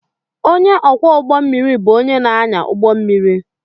Ónyé ọkwọ ụgbọ mmiri bụ ónyé na-anya ụgbọ mmiri.